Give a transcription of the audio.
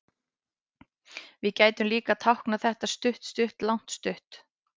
Við gætum líka táknað þetta stutt-stutt-langt-stutt.